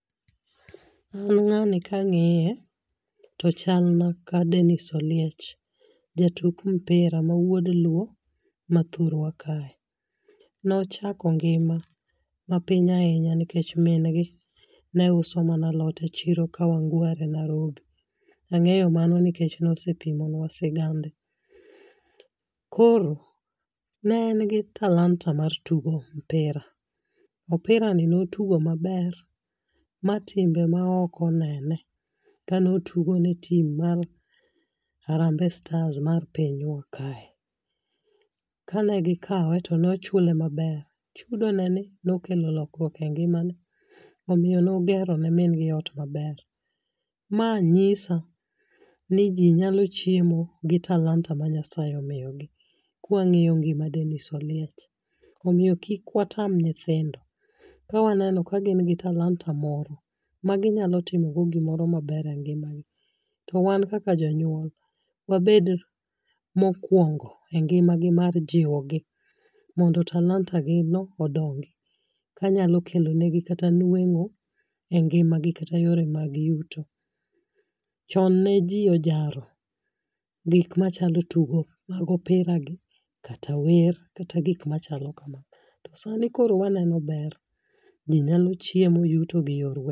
An ng'ani ka ng'iye to ochal na ka Dennis Oliech jatuk mpira ma wuod luo ma thurwa kae, nochako ngima mapiny ahinya nikech min gi ne uso mana alot e chiro kawangware Nairobi, ang'eyo mano nikech nose pimonwa sigande ,koro ne en gi talanta mar tugo mpira, mpira ni notugo maber ma timbe ma oko onene kano tugo ne tim mar harambee stars mar pinywa kae, kane gikawe tono chule maber ,chudo ne ni nokelo lokruok e ngimane omiyo nogero ne min gi ot maber ,ma nyisa ni ji nyalo chiemo gi talanta ma Nyasaye omiyo gi kua ng'iyo ngima Dennis Oliech, omiyo kik watam nyithindo kawa neno ka gin gi talanta moro magi nyalo timo go gimoro maber e ngima gi, to wan kaka jonyuol wabed mokuongo e ngima gi mar jiwo gi mondo talanta gi no odongi kanyalo kelo ne gi kata nwengo e ngima gi kata yore gi mag yuto ,chon ne ji ojaro gik machalo tugo mag opira gi kata wer kata gik machalo kamano to sani koro waneno ber ,ji neno chiemo yuto gi yor..